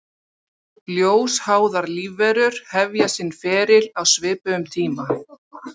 Ljósháðar lífverur hefja sinn feril á svipuðum tíma.